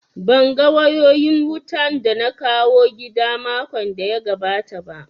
Ban ga wayoyin wutan da na kawo gida makon da ya gabata ba